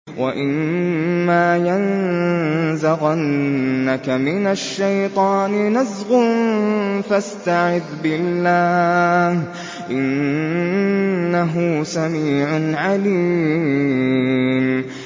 وَإِمَّا يَنزَغَنَّكَ مِنَ الشَّيْطَانِ نَزْغٌ فَاسْتَعِذْ بِاللَّهِ ۚ إِنَّهُ سَمِيعٌ عَلِيمٌ